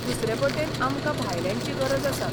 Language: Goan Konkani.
दुसरे बटेन आमकां भायल्यांची गरज आसा.